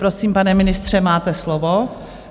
Prosím, pane ministře, máte slovo.